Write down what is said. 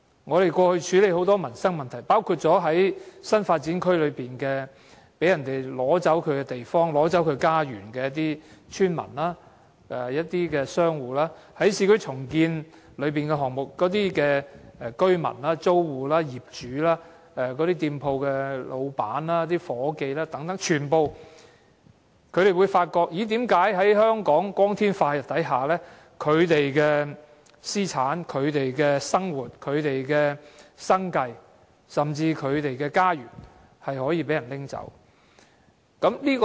我們過去處理很多民生問題，包括在新發展區內被奪走地方和家園的村民和商戶，在市區重建項目中的居民、租戶、業主、店鋪老闆和夥計等，全部都發現為何在香港光天化日之下，他們的私產、生活、生計甚至是家園都可被人拿走。